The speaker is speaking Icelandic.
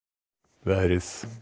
veðri